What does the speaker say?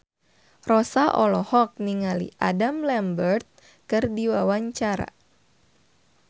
Rossa olohok ningali Adam Lambert keur diwawancara